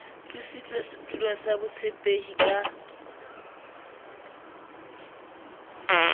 tlositswe setulong sa botshepehi ka